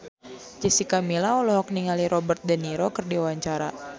Jessica Milla olohok ningali Robert de Niro keur diwawancara